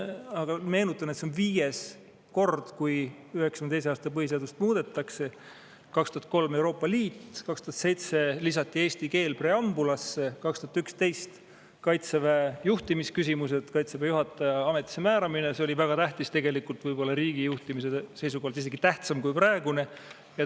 Aga meenutan, et see on viies kord, kui 1992. aasta põhiseadust muudetakse: 2003. aastal tehti muudatus Euroopa Liiduga, 2007. aastal lisati preambulisse eesti keel, 2011 tegeldi Kaitseväe juhtimise küsimustega, Kaitseväe juhataja ametisse määramisega, mis oli väga tähtis, riigijuhtimise seisukohalt võib-olla isegi tähtsam kui praegune.